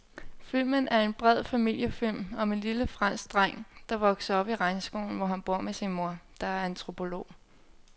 Filmen er en bred familiefilm om en lille fransk dreng, der vokser op i regnskoven, hvor han bor med sin mor, der er antropolog.